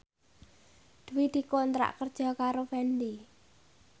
Dwi dikontrak kerja karo Fendi